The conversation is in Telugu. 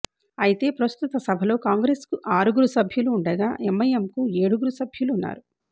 అయితే ప్రస్తుత సభలో కాంగ్రెస్కు ఆరుగురు సభ్యులు ఉండగా ఎమ్ఐఎమ్కు ఏడుగురు సభ్యులు ఉన్నారు